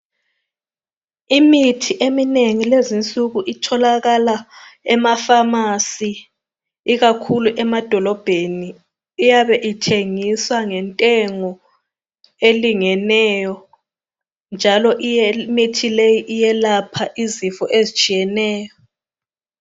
Imithi eminengi lezinsuku itholakala emaphamasi ikakhulu emadolobheni. Iyabe ithengiswa ngentengo elingeneyo njalo imithi leyi iyelapha izifo ezitshiyeneyo.